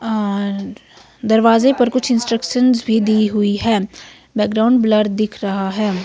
और दरवाजे पर कुछ इंस्ट्रक्शंस भी दी हुई है बैकग्राउंड ब्लर दिख रहा है।